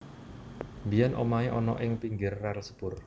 Biyen omahe ana ing pinggir rel sepur